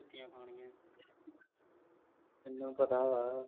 ਮੈਨੂੰ ਪਤਾ ਵਾ,